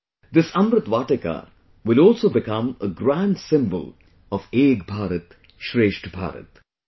This 'Amrit Vatika' will also become a grand symbol of 'Ek Bharat Shresth Bharat'